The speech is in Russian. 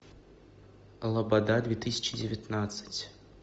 лобода две тысячи девятнадцать